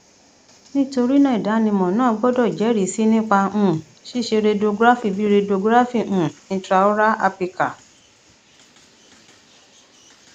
nitorina idanimọ naa gbọdọ jẹrisi nipa um ṣiṣe radiography bi radiography um intraoral apical